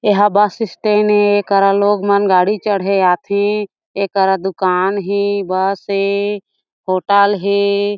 एहा bus stand ए एकरा लोग मन गाड़ी चढ़े आथे एकरा दुकान हे बस हे होटल हे ।